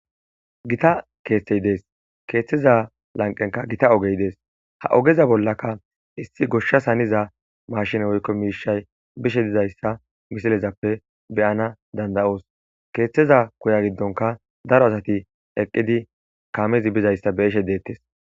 Gita keethay desi keethaza lanqqenika oge des.ha ogeza bollaka issi gishasi hanida mashine woykko mishayi diza ta ha misilezape beanasi danidayos keethaza giddonika daro asati eqqidi kameza nishe des